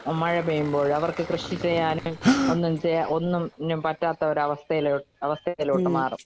മഴ പെയ്യുമ്പോഴ്. അവർക്ക് കൃഷി ചെയ്യാനും ഒന്നും ചെ ഒന്നിനും പറ്റാത്ത ഒരവസ്ഥയിലോ അവസ്ഥയിലോട്ട് മാറും.